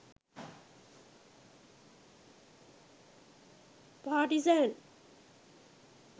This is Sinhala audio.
partizan